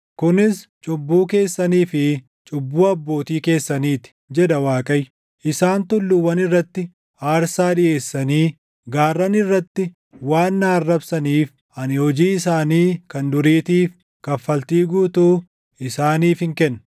Kunis cubbuu keessanii fi cubbuu abbootii keessanii ti” jedha Waaqayyo. “Isaan tulluuwwan irratti aarsaa dhiʼeessanii, gaarran irratti waan na arrabsaniif, ani hojii isaanii kan duriitiif, kaffaltii guutuu isaaniifin kenna.”